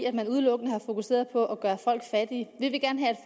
at man udelukkende har fokuseret på at gøre folk fattige vi vil gerne have